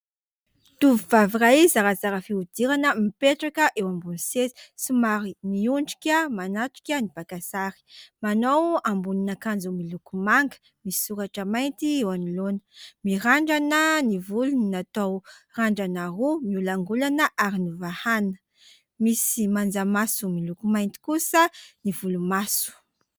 Tovovavy iray zarazara fihodirana mipetraka eo ambony seza somary miondrika manatrika ny mpaka sary. Manao ambonin'akanjo miloko manga misy soratra mainty eo anoloana. Mirandrana ny volony natao randrana roa miolakolaka ary novahana. Misy manjamaso miloko mainty kosa ny volomaso.